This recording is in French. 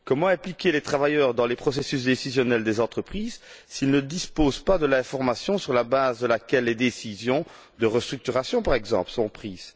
Comment impliquer les travailleurs dans les processus décisionnels des entreprises, s'ils ne disposent pas de l'information sur la base de laquelle les décisions de restructuration, par exemple, sont prises?